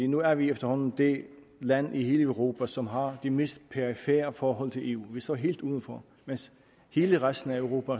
nu er vi efterhånden det land i hele europa som har det mest perifere forhold til eu vi står helt udenfor mens hele resten af europa